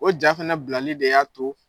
O ja fɛnɛ bilali de y'a to